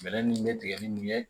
Bɛlɛ min bɛ tigɛ ni mun ye